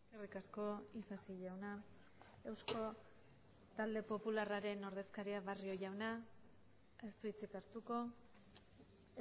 eskerrik asko isasi jauna euzko talde popularraren ordezkaria barrio jauna ez du hitzik hartuko